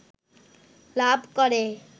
লাভ করে